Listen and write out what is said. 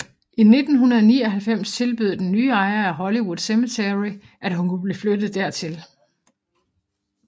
I 1999 tilbød den nye ejer af Hollywood Cemetery at hun kunne blive flyttet dertil